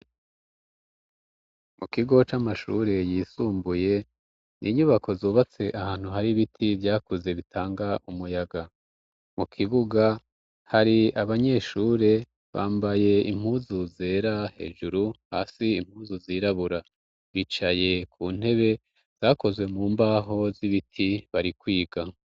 Mu kigo c'amashure yisumbuye ,inyubako zubatse ahantu hari biti vyakuze bitanga umuyaga ,mu kibuga hari abanyeshure bambaye impuzu zera hejuru, hasi impuzu zirabura, bicaye ku ntebe zakozwe mu mbaho z'ibiti bari kwiga.